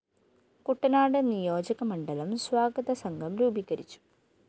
കുട്ടനാട് നിയോജകമണ്ഡലം സ്വാഗതസംഘം രൂപീകരിച്ചു